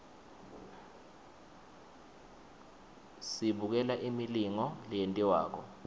sibukela imilingo leyentiwakalo